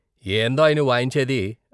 ఏందోయ్, నువ్వాయించేది?